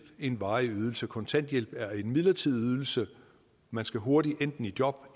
en varig ydelse kontanthjælp er en midlertidig ydelse man skal hurtigt enten i job